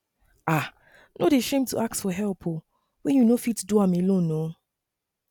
um no dey shame to ask for help wen you no fit do am alone um